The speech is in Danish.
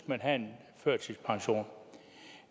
man have en førtidspension